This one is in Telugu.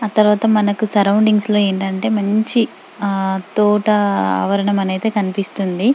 ఆ తర్వాత మనకి సరౌండింగ్స్ లో ఏంటంటే మంచి ఆ తోట ఆవరణం అనైతే కనిపిస్తుంది.